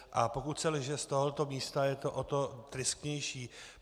A pokud se lže z tohoto místa, je to o to tristnější.